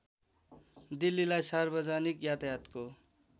दिल्लीलाई सार्वजनिक यातायातको